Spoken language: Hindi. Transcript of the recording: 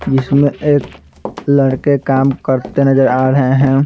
जिसमें एक लड़के काम करते नजर आ रहे हैं।